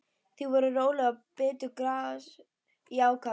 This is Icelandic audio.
Þau voru róleg og bitu gras í ákafa.